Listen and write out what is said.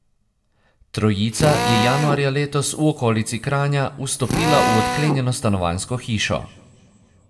Trojica je januarja letos v okolici Kranja vstopila v odklenjeno stanovanjsko hišo.